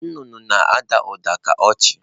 Nnụnụ na-ada ụda ka ọchị.